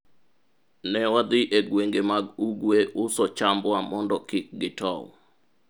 ne wadhi e gwenge mag ugwe uso chambwa mondo kik gitow